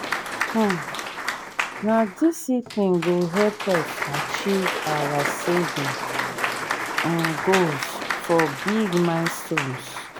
um na discipline go help us achieve our saving um goals for big milestones.